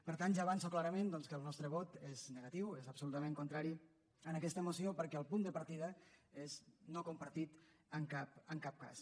per tant ja avanço clarament doncs que el nostre vot és negatiu és absolutament contrari a aquesta moció perquè el punt de partida és no compartit en cap cas